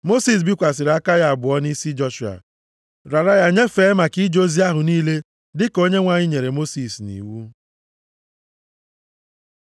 Mosis bikwasịrị aka ya abụọ nʼisi Joshua, rara ya nyefee maka ije ozi ahụ niile dịka Onyenwe anyị nyere Mosis nʼiwu.